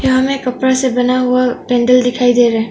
हमें कपड़े से बना हुआ पेंडल दिखाई दे रहा है।